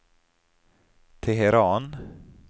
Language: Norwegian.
Teheran